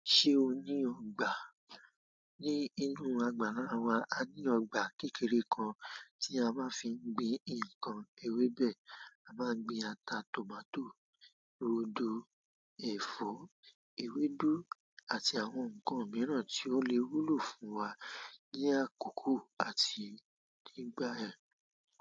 Ṣé o ní ọgbà? Ní inú àgbàlá wa, a ní ọgbà kékeré kan tí a máa fi ń gbin nǹkan ewébẹ̀. A máa ń gbin ata, tòmátò, ródo, ẹ̀fọ́, ewédú àti àwọn nǹkan mìíràn tí ó le wúlò fún wa ní àkókò àti nígbà ẹ.